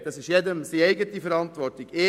Es liegt in der Eigenverantwortung von jedem.